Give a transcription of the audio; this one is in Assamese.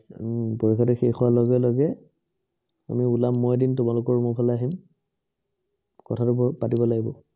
উম পৰীক্ষাটো শেষ হোৱাৰ লগে লগে আমি ওলাম, মই এদিন তোমালোকৰ room ৰ ফালে আহিম। কথাতো ঘৰত পাতিব লাগিব।